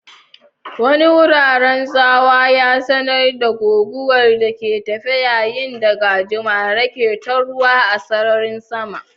Wani rurin tsawa ya sanar da guguwar da ke tafe yayin da gajimare ke taruwa a sararin sama.